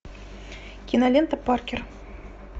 кинолента паркер